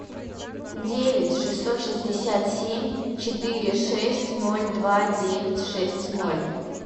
девять шестьсот шестьдесят семь четыре шесть ноль два девять шесть ноль